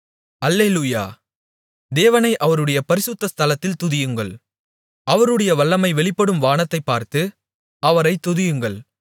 அல்லேலூயா தேவனை அவருடைய பரிசுத்தஸ்தலத்தில் துதியுங்கள் அவருடைய வல்லமை வெளிப்படும் வானத்தைப்பார்த்து அவரைத் துதியுங்கள்